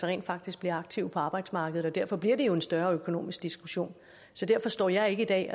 rent faktisk bliver aktive på arbejdsmarkedet og derfor bliver det jo en større økonomisk diskussion så derfor står jeg ikke i dag